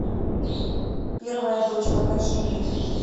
первая дочь покажи мне